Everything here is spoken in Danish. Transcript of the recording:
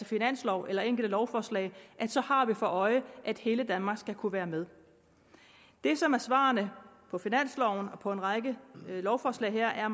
finansloven eller enkelte lovforslag har vi for øje at hele danmark skal kunne være med det som er svarene på finansloven og på en række lovforslag her er